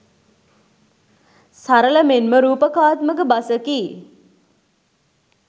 සරල මෙන්ම රූපකාත්මක බසකි.